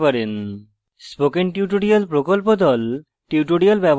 spoken tutorial প্রকল্প the